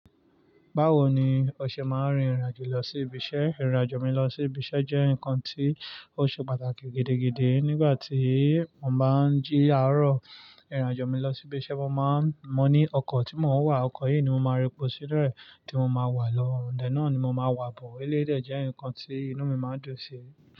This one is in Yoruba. Báwo ni o ṣe máa ń rin ìrìn àjò lọ sí ibiṣẹ́? Ìrìn àjò mi lọ sí ibi iṣẹ́ jẹ́ nkan tí ó ṣe pàtàkì gidigidi. Nígbàtí mo bá ń jí láro ìrìn àjò mi lọ sí ibi iṣẹ́, mo máa mọ̀ ní ọkọ̀ tí mo wà. Ọkọ̀ yìí ni mo máa repo sínú ẹ tí mo ma wá lọ, ọ̀un dẹ̀ náà ni mo ma wà bo. Eléyìí de jẹ́ ǹkan tí inú mi máa ń dùn sí.